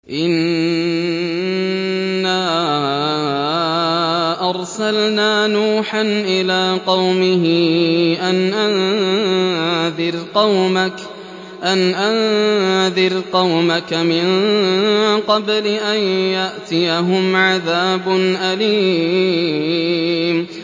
إِنَّا أَرْسَلْنَا نُوحًا إِلَىٰ قَوْمِهِ أَنْ أَنذِرْ قَوْمَكَ مِن قَبْلِ أَن يَأْتِيَهُمْ عَذَابٌ أَلِيمٌ